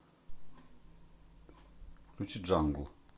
включи джангл